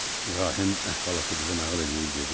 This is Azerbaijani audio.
İbrahim əhvalatı qıza nağıl eləyib dedi: